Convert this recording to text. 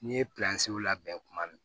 N'i ye labɛn tuma min